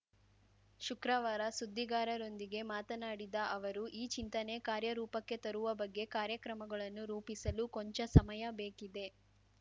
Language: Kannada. ಶುಕ್ರವಾರ ಸುದ್ದಿಗಾರರೊಂದಿಗೆ ಮಾತನಾಡಿದ ಅವರು ಈ ಚಿಂತನೆ ಕಾರ್ಯರೂಪಕ್ಕೆ ತರುವ ಬಗ್ಗೆ ಕಾರ್ಯಕ್ರಮಗಳನ್ನು ರೂಪಿಸಲು ಕೊಂಚ ಸಮಯ ಬೇಕಿದೆ